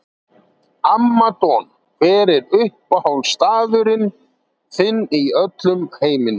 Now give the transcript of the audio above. Amma Don Hver er uppáhaldsstaðurinn þinn í öllum heiminum?